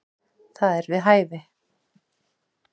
Það er við hæfi.